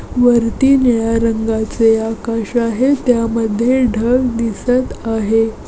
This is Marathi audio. वरती निळ्या रंगाचे आकाश आहे. त्यामध्ये ढग दिसत आहे.